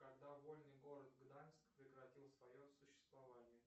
когда вольный город гданьск прекратил свое существование